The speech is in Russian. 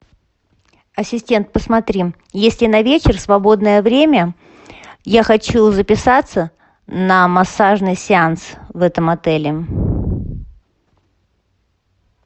ассистент посмотри есть ли на вечер свободное время я хочу записаться на массажный сеанс в этом отеле